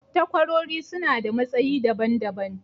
takwarori suna da matsayi daban daban.